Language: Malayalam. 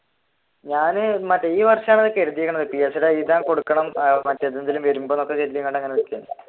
ഞാൻ മറ്റേ ഈ വർഷമാണ് എഴുതിയിരിക്കുന്നത് PSC എഴുതാൻ കൊടുക്കണം